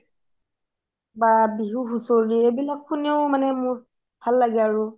বা বিহু হুচোৰি এইবিলাক শুনিও মোৰ ভাল লগে আৰু